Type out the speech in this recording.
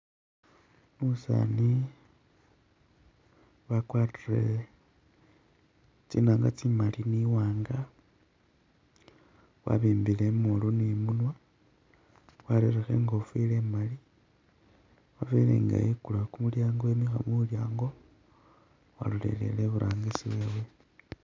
Umusaani wakwarire tsinanga tsimali ni waanga wabibile i'moolu ni munwa warelikho e'ngofile mali wabele nga ekulawo kumulyango emikha mulyango, walolelele i'burangisi wewe